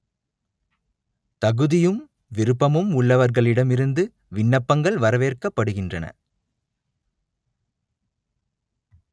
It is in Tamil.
தகுதியும் விருப்பமும் உள்ளவர்களிடமிருந்து விண்ணப்பங்கள் வரவேற்கப்படுகின்றன